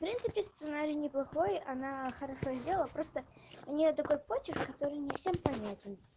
в принципе сценарий неплохой она хорошо сделала просто у нее такой подчерк который не всем понятен